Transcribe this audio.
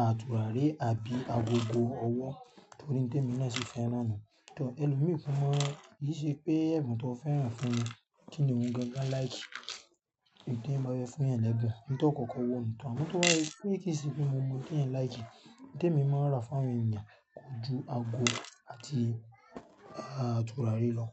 à tùràrí àbí agogo ọwọ́ tó rí té mi náà ṣì fẹ́ràn nu. Ìtọ́ ẹlòmíràn mọ̀, kì í ṣe pé ẹ̀bùn tó fẹ́ràn fún mi kíni òun gan-an láì kì í gbé bá ẹ fún ẹ lẹ́gbẹ̀ẹ́ ohùn tí ó kọ́kọ́ wò mọ́, àmọ́ tó bá rí pé kì í ṣe pé mo mọ ohun tí ẹ̀ láì kì í, ohun temi máa rà fún àwọn ènìyàn kò ju ago àti tùràrí lọ.